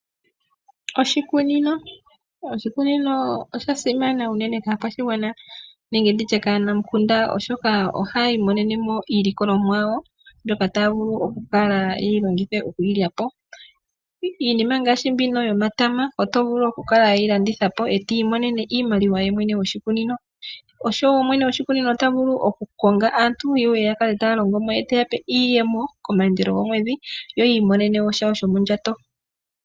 Oshikunino osha simana unene kaakwashigwana nenge ndi tye kaanamukunda, oshoka ohaya imonene mo iilikolomwa yawo mbyoka taya vulu kala ye yi longithe oku yi lya po. Iinima mbino ngaashi omatama oto vulu oku yi landitha po e to imonene iimaliwa ye mwene moshikunino. Osho wo mwene gwoshikunino ota vulu okukonga aantu ye ye ya kale tale taya longo mo ye te ya pe iiyemo komayandelo gomwedhi yo yi imonene mo shawo shomondjato.